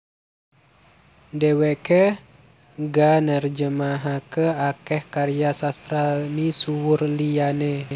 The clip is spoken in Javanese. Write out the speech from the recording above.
Dhèwèké ga nerjemahaké akèh karya sastra misuwur liyané